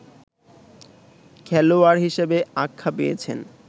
খেলোয়াড় হিসেবে আখ্যা পেয়েছেন